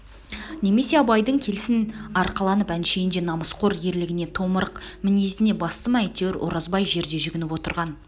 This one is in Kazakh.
немесе абайдың келсін арқаланып әншейіндегі намысқор ерлігіне томырық мінезіне басты ма әйтеуір оразбай жерде жүгініп отырған